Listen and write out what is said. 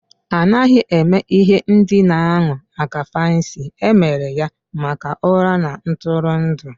A naghị eme ihe ndina ahụ maka fancy, e mere ya maka ụra na ntụrụndụ